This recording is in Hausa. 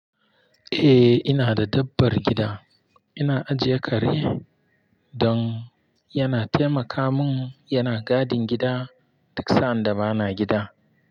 Eh ina da dabbar gida. Ina ajiye kare don yana taimaka mun, yana gadin gida duk sanda bana gida.